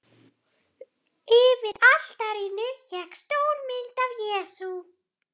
Yfir altarinu hékk stór mynd af Jesú.